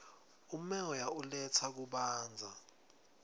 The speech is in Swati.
umoya uletsa kubanza